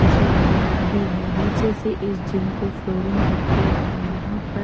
शीशे वगैरा भी है नीचे से इस जिम को फ्लोरिंग करके हैं यहां पर--